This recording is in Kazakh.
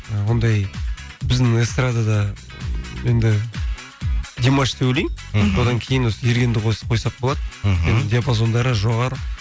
ы ондай біздің эстрадада енді димаш деп ойлаймын мхм содан кейін осы ергенді қосып қойсақ болады мхм диапазондары жоғары